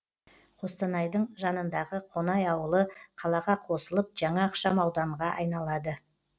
қостанайдың жанындағы қонай ауылы қалаға қосылып жаңа ықшам ауданға айналады